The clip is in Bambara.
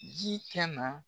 Ji ka na